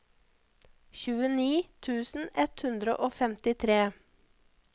tjueni tusen ett hundre og femtitre